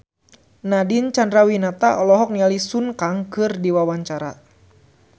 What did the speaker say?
Nadine Chandrawinata olohok ningali Sun Kang keur diwawancara